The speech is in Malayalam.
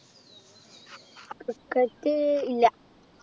cricket ഇല്ല